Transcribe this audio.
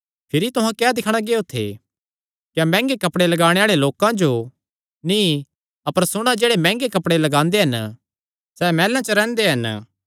भिरी तुहां क्या दिक्खणा गियो थे क्या मैंह्गे कपड़े लगाणे आल़े लोकां जो नीं अपर सुणा जेह्ड़े मैंह्गे कपड़े लगांदे हन सैह़ मैहलां च रैंह्दे हन